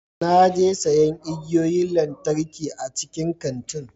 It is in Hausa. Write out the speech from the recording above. Na je siyan igiyoyin lantarki a cikin kantin.